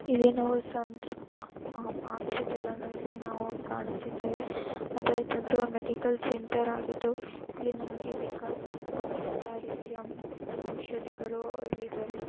ಇಲ್ಲಿ ನಾವು ಸಂತೃಪ್ತ್ ಹಾಸ್ಪಿಟಲನು ಇಲ್ಲಿ ನಾವು ಕಾಣುತ್ತಿದ್ದೇವೆ ಮತ್ತು ಇದೊಂದು ಮೆಡಿಕಲ್ ಸೆಂಟರ್ ಆಗಿದ್ದು ಇಲ್ಲಿ ನಮಗೆ ಬೇಕಾದಂತಹ ಎಲ್ಲ ರೀತಿಯ ಔಷಧಿಗಳು ದೊರೆಯುತ್ತವೆ .